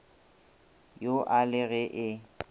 yo a le ge e